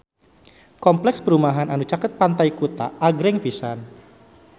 Kompleks perumahan anu caket Pantai Kuta agreng pisan